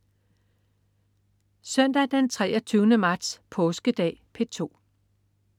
Søndag den 23. marts. Påskedag - P2: